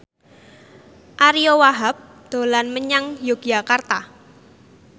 Ariyo Wahab dolan menyang Yogyakarta